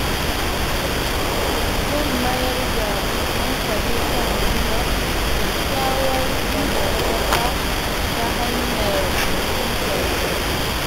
Zan mayar da hankali kan gina kyakkyawar dangantaka ta hanyar fahimtar wasu.